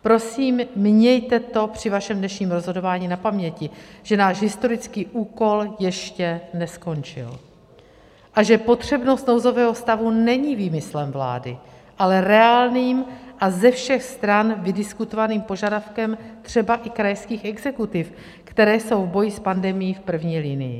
Prosím, mějte to při vašem dnešním rozhodování na paměti, že náš historický úkol ještě neskončil a že potřebnost nouzového stavu není výmyslem vlády, ale reálným a ze všech stran vydiskutovaným požadavkem, třeba i krajských exekutiv, které jsou v boji s pandemií v první linii.